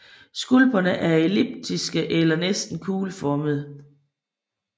Skulperne er elliptiske til næsten kugleformede